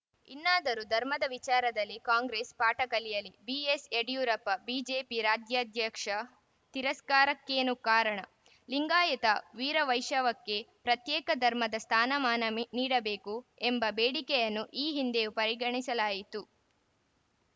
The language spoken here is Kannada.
ಇನ್ನಾದರೂ ಧರ್ಮದ ವಿಚಾರದಲ್ಲಿ ಕಾಂಗ್ರೆಸ್‌ ಪಾಠ ಕಲಿಯಲಿ ಬಿಎಸ್‌ಯಡಿಯೂರಪ್ಪ ಬಿಜೆಪಿ ರಾಜ್ಯಾಧ್ಯಕ್ಷ ತಿರಸ್ಕಾರಕ್ಕೇನು ಕಾರಣ ಲಿಂಗಾಯತವೀರವೈಶಕ್ಕೆ ಪ್ರತ್ಯೇಕ ಧರ್ಮದ ಸ್ಥಾನಮಾನ ನೀಡಬೇಕು ಎಂಬ ಬೇಡಿಕೆಯನ್ನು ಈ ಹಿಂದೆಯೂ ಪರಿಗಣಿಸಲಾಯಿತು